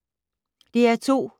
DR2